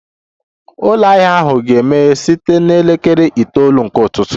Ụlọ ahịa ahụ ga-emeghe site na elekere itoolu nke ụtụtụ